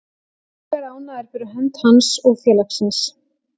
Ég er ánægður fyrir hönd hans og félagsins.